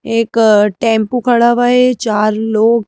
एक टेंपू खड़ा हुआ है चार लोग--